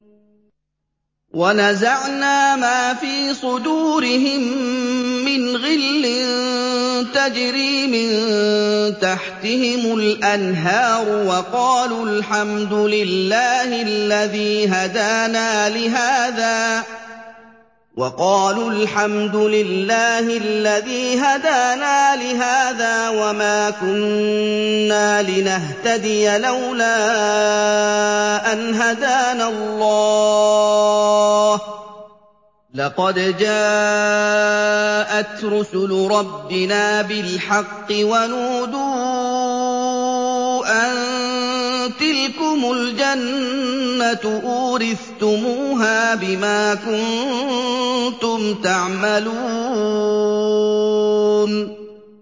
وَنَزَعْنَا مَا فِي صُدُورِهِم مِّنْ غِلٍّ تَجْرِي مِن تَحْتِهِمُ الْأَنْهَارُ ۖ وَقَالُوا الْحَمْدُ لِلَّهِ الَّذِي هَدَانَا لِهَٰذَا وَمَا كُنَّا لِنَهْتَدِيَ لَوْلَا أَنْ هَدَانَا اللَّهُ ۖ لَقَدْ جَاءَتْ رُسُلُ رَبِّنَا بِالْحَقِّ ۖ وَنُودُوا أَن تِلْكُمُ الْجَنَّةُ أُورِثْتُمُوهَا بِمَا كُنتُمْ تَعْمَلُونَ